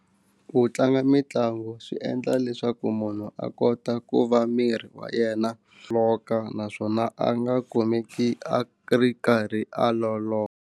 Ku tlanga mitlangu swi endla leswaku munhu a kota ku va miri wa yena loko naswona a nga kumeki a ri karhi a loloha.